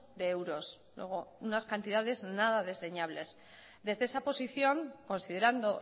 de euros luego unas cantidades nada desdeñables desde esa posición considerando